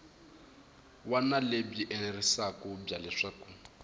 wana lebyi enerisaku bya leswaku